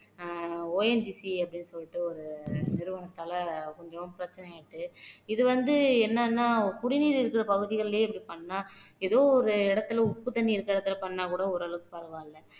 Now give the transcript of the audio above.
ஆஹ் ONGC அப்படீன்னு சொல்லிட்டு ஒரு நிறுவனத்தால கொஞ்சம் பிரச்சனை ஆயிட்டு இது வந்து என்னன்னா குடிநீர் இருக்கிற பகுதிகள்லயே இப்படி பண்ணா ஏதோ ஒரு இடத்துல உப்புத்தண்ணி இருக்கிற இடத்துல பண்ணா கூட ஓரளவுக்கு பரவாயில்ல